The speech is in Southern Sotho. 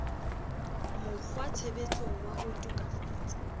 mokg watshebetsong wa ho tokafatsa